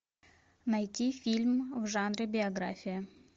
найти фильм в жанре биография